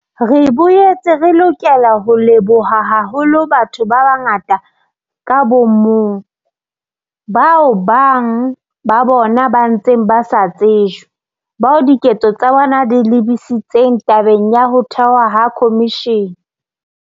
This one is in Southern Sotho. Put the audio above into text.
Re boetse re lokela ho leboha haholo batho ba bangata ka bo mong, bao bang ba bona ba ntseng ba sa tsejwe, bao diketso tsa bona di lebisitseng tabeng ya ho thehwa ha khomishene.